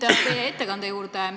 Nüüd teie ettekande juurde.